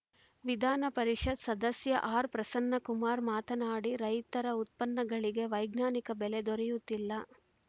ವಿಧಾನಪರಿಷತ್‌ ಸದಸ್ಯ ಆರ್‌ಪ್ರಸನ್ನಕುಮಾರ್‌ ಮಾತನಾಡಿ ರೈತರ ಉತ್ಪನ್ನಗಳಿಗೆ ವೈಜ್ಞಾನಿಕ ಬೆಲೆ ದೊರೆಯುತ್ತಿಲ್ಲ